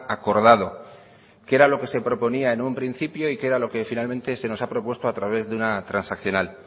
acordado que era lo que se proponía en un principio y que era lo que finalmente se nos ha propuesto a través de una transaccional